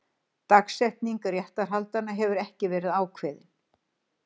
Dagsetning réttarhaldanna hefur ekki verið ákveðin